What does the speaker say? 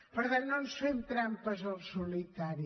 per tant no ens fem trampes al solitari